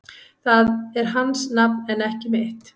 Það er hans nafn en ekki mitt